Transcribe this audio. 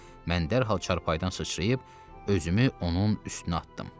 Mən dərhal çarpayıdan sıçrayıb, özümü onun üstünə atdım.